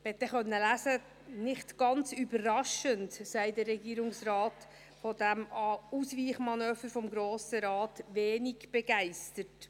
Man konnte lesen: «Nicht ganz überraschend» sei der Regierungsrat «von diesem Ausweichmanöver des Grossen Rates wenig begeistert».